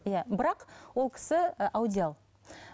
иә бірақ ол кісі і аудиал